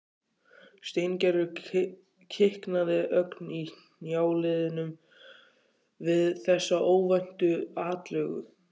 Steingerður kiknaði ögn í hnjáliðunum við þessa óvæntu atlögu.